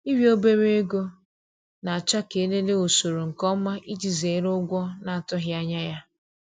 Ịrịọ obere ego na-achọ ka e lelee usoro nke ọma iji zere ụgwọ na-atụghị anya ya.